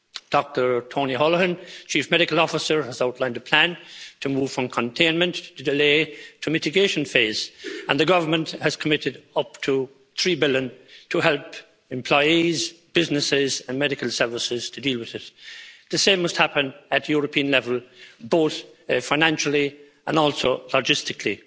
Dr Tony Holohan, Chief Medical Officer, has outlined a plan to move from containment to delay to mitigation phase, and the government has committed up to EUR 3 billion to help employees, businesses and medical services to deal with the coronavirus. The same must happen at European level, both financially and also logistically.